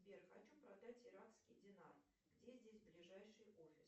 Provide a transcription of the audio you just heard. сбер хочу продать иракский динар где здесь ближайший офис